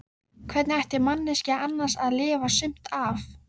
Hvernig ætti manneskjan annars að lifa sumt af?